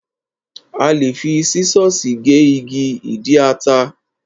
A lè fi sísọ̀sì gé igi ìdí ata.